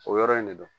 O yɔrɔ in de do